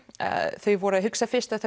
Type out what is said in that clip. þau voru að hugsa fyrst að